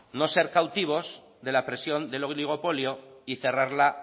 no ser cautivos de la presión del oligopolio y cerrarla